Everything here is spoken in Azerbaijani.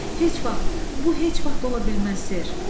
Heç vaxt, bu heç vaxt ola bilməz, ser.